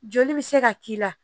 Joli bɛ se ka k'i la